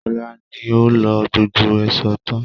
Kọ́lá ni ó lo gbogbo èṣó tán